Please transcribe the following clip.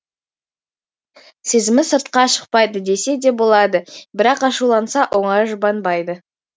сезімі сыртқа шықпайды десе де болады бірақ ашуланса оңай жұбанбайды